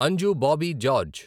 Anju Bobby George